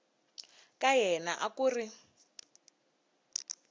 ka yena a ku ri